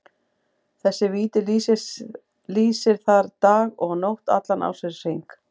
Þessi viti lýsir þar dag og nótt allan ársins hring.